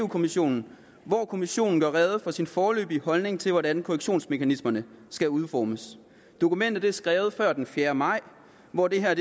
kommissionen hvor kommissionen gør rede for sin foreløbige holdning til hvordan korrektionsmekanismerne skal udformes dokumentet er skrevet før den fjerde maj hvor det her